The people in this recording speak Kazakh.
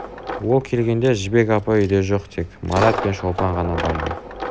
ол келгенде жібек апай үйде жоқ тек марат пен шолпан ғана барды